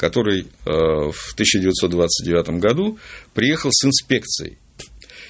который аа в тысяча девятьсот двадцать девятом году приехал с инспекцией